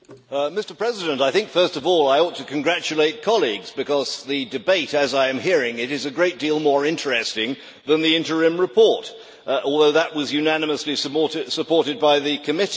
Mr President, first of all I ought to congratulate colleagues because the debate, as I am hearing it, is a great deal more interesting than the interim report, although that was unanimously supported by the committee.